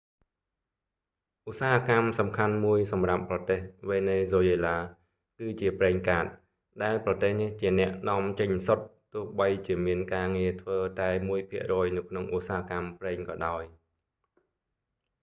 ឧស្សាហកម្មសំខាន់មួយសម្រាប់ប្រទេសវេណេហ្ស៊ុយអេឡា គឺជាប្រេងកាត ដែលប្រទេសនេះជាអ្នកនាំចេញសុទ្ធ ទោះបីជាមានការងារធ្វើតែមួយភាគរយនៅក្នុងឧស្សាហកម្មប្រេងក៏ដោយ